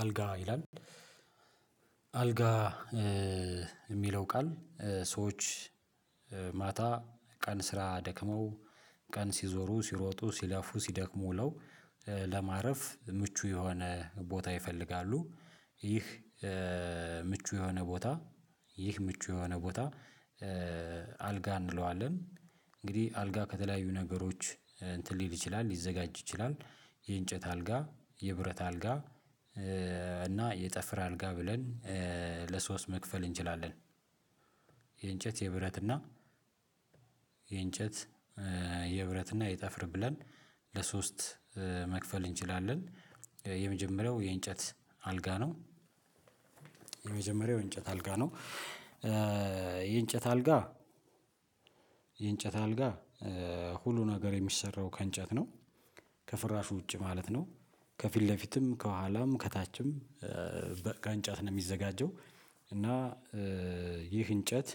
አልጋ ይላል አልጋ የሚለው ቃል ሰዎች ማታ ቀን ስራ ደክመው ቀን ሲዞሩ ሲሮጡ ሲለፉ ሲደክሙ ውለው ለማረፍ ምቹ የሆነ ቦታ ይፈልጋሉ። ይህ ምቹ የሆነ ቦታ ይህ ምቹ የሆነ ቦታ አልጋ እንለዋለን። እንግዲህ አልጋ ከተለያዩ ነገሮች እንትን ሊል ይችላል ሊዘጋጅ ይችላል። የእንጨት አልጋ የብረት አልጋ እና የጠፍር አልጋ ብለን ለሶስት መክፈል እንችላለን። የብረት እና የእንጨት የብረት እና የጠፍር ብለን ለሶስት መክፈል እንችላለን። የመጀመሪያው የእንጨት አልጋ ነው። የመጀመሪያው የእንጨት አልጋ ነው። የእንጨት አልጋ የእንጨት አልጋ ሁሉ ነገር የሚሰራው ከእንጨት ነው። ከፍራሹ ውጪ ማለት ነው። ከፊት ለፊትም ከኋላም ከታችም ከእንጨት ነው የሚዘጋጀው። እና ይህ እንጨት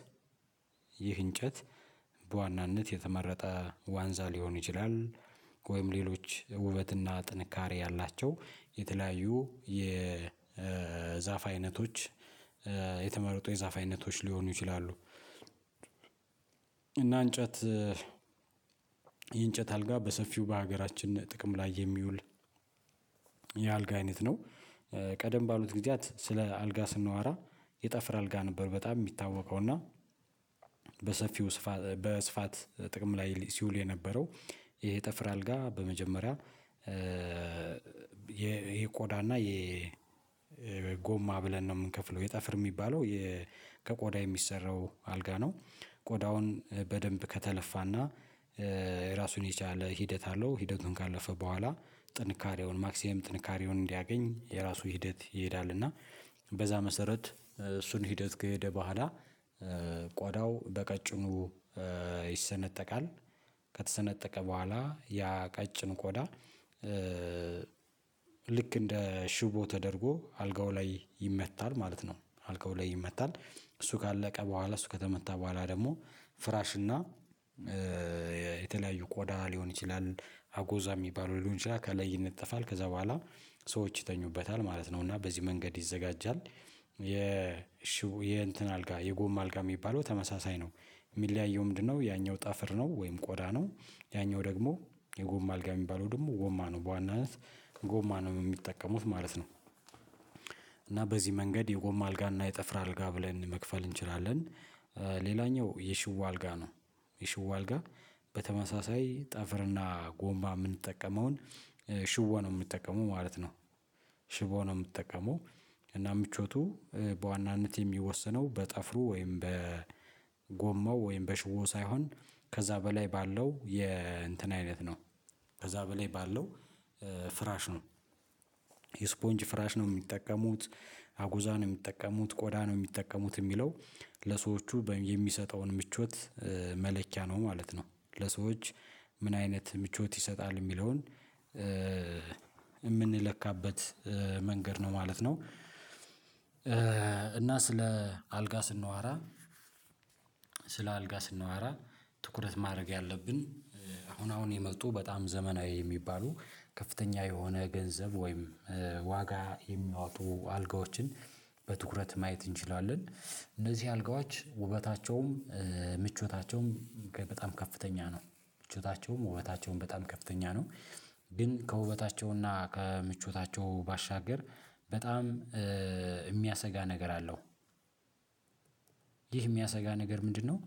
ይህ እንጨት በዋናነት የተመረጠ ዋንዛ ሊሆን ይችላል። ወይም ሌሎች ውበትና ጥንካሬ ያላቸው የተለያዩ የዛፍ አይነቶች የተመረጡ የዛፍ አይነቶች ሊሆኑ ይችላሉ። እና እንጨት የእንጨት አልጋ በሰፊው በሀገራችን ጥቅም ላይ የሚውል የአልጋ አይነት ነው። ቀደም ባሉት ጊዜያት ስለ አልጋ ስናወራ የጠፍር አልጋ ነበር በጣም የሚታወቀው እና በሰፊው ስፋት በስፋት ጥቅም ላይ ሲውል የነበረው። ይሄ ጠፍር አልጋ በመጀመሪያ ይሄ ቆዳና ይሄ ወይ ጎማ ብለን ነው የምንከፍለው የጠፈር የሚባለው። ከቆዳ የሚሰራው አልጋ ነው። ቆዳውን በደንብ ከተለፋና ራሱን የቻለ ሂደት አለው። ሂደቱን ካለፈ በኋላ ጥንካሬውን ማክሲመም ጥንካሬውን እንዲያገኝ የራሱ ሂደት ይሄዳል እና በዛ መሰረት እሱን ሂደት ከሄደ በኋላ ቋዳው በቀጭኑ ይሰነጠቃል። ከተሰነጠቀ በኋላ ያ ቀጭን ቆዳ ኮዳ ልክ እንደ ሽቦ ተደርጎ አልጋው ላይ ይመታል ማለት ነው። አልከው ላይ ይመታል እሱ ካለቀ በኋላ እሱ ከተመታ በኋላ ደግሞ ፍራሽ እና የተለያዩ ቆዳ ሊሆን ይችላል አጎዛ የሚባለው ሊሆን ይችላል ከላይ ይነጠፋል ከዛ በኋላ ሰዎች ይተኙበታል ማለት ነው። እና በዚህ መንገድ ይዘጋጃል። የ የእንትን አልጋ የጎም አልጋ የሚባለው ተመሳሳይ ነው የሚለያየው ምንድነው? ያኛው ጣፈር ነው ወይም ቆዳ ነው ያኛው ደግሞ የጎማ አልጋ የሚባለው ደግሞ ጎማ ነው በዋናነት ጎማ ነው የሚጠቀሙት ማለት ነው። እና በዚህ መንገድ የጎማ አልጋ እና የጠፍራ አልጋ ብለን መክፈል እንችላለን። ሌላኛው የሽቦ አልጋ ነው። የሽቦ አልጋ በተመሳሳይ ጠፈርና ጎማ የምንጠቀመውን ሽቦ ነው የምንጠቀመው ማለት ነው። ሽቦ ነው የምትጠቀመው እና ምቾቱ በዋናነት የሚወሰነው በጠፍሩ ወይም በጎማው ወይም በሽቦው ሳይሆን ከዛ በላይ ባለው የእንትን አይነት ነው። ከዛ በላይ ባለው ፍራሽ ነው። ስፖንጅ ፍራሽ ነው የሚጠቀሙት አጉዛ ነው የሚጠቀሙት ቆዳ ነው የሚጠቀሙት የሚለው ለሰዎቹ የሚሰጠውን ምቾት መለሊያ ነው ማለት ነው። ለሰዎች ምን አይነት ምቾት ይሰጣል የሚለውን? የምንለካበት መንገድ ነው ማለት ነው። እና ስለ አልጋ ስናወራ ስለ አልጋ ስናወራ ትኩረት ማድረግ ያለብን አሁን አሁን የመጡ በጣም ዘመናዊ የሚባሉ ከፍተኛ የሆነ ገንዘብ ወይም ዋጋ የሚያወጡ አልጋዎችን በትኩረት ማየት እንችላለን። እነዚህ አልጋዎች ውበታቸውም ምቾታቸውም በጣም ከፍተኛ ነው። ምቾታቸውም ውበታቸውም በጣም ከፍተኛ ነው። ግን ከውበታቸውና ከምቾታቸው ባሻገር በጣም የሚያሰጋ ነገር አለው። ይህ የሚያሰጋ ነገር ምንድነው?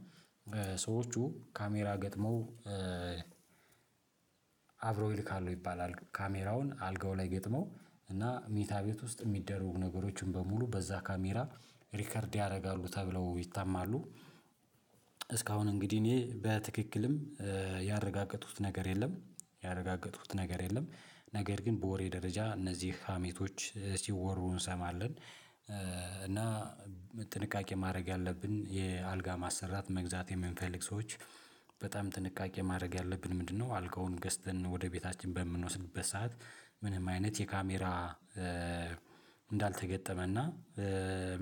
ሰዎቹ ካሜራ ገጥመው አብሮ ይልካሉ ይባላል ካሜራውን አልጋው ላይ ገጥመው እና ሚታ ቤት ውስጥ የሚደረጉ ነገሮችን በሙሉ በዛ ካሜራ ሪከርድ ያደርጋሉ ተብለው ይታማሉ። እስካሁን እንግዲህ እኔ በትክክልም ያረጋገጡት ነገር የለም። ያረጋገጡት ነገር የለም ነገር ግን በወሬ ደረጃ እነዚህ ሀሜቶች ሲወሩ እንሰማለን። እና ጥንቃቄ ማድረግ ያለብን የአልጋ ማሰራት መግዛት የምንፈልግ ሰዎች በጣም ጥንቃቄ ማድረግ ያለብን ምንድነው? አልጋውን ገዝተን ወደ ቤታችን በምንወስድበት ሰዓት ምንም አይነት የካሜራ እንዳልተገጠመና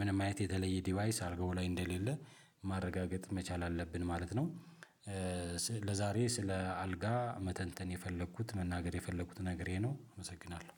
ምንም አይነት የተለየ ዲቫይስ አርጎ ላይ እንደሌለ ማረጋገጥ መቻል አለብን ማለት ነው። ለዛሬ ስለ አልጋ መተንተን የፈለኩት መናገር የፈለኩት ነገር ይህ ነው አመሰግናለሁ።